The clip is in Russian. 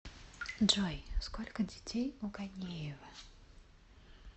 джой сколько детей у ганеева